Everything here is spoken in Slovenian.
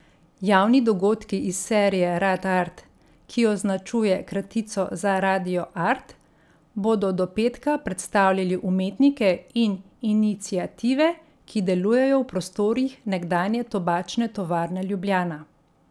Javni dogodki iz serije Radart, ki označuje kratico za Radio Art, bodo do petka predstavljali umetnike in iniciative, ki delujejo v prostorih nekdanje Tobačne tovarne Ljubljana.